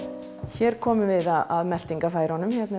hér komum við að meltingarfærunum þetta er